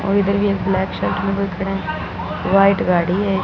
और इधर ये ब्लैक शर्ट में कोई खड़ा है वाइट गाड़ी है।